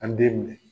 An den minɛ